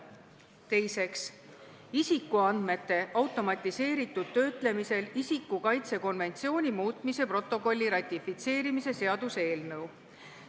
Teiseks, isikuandmete automatiseeritud töötlemisel isiku kaitse konventsiooni muutmise protokolli ratifitseerimise seaduse eelnõu.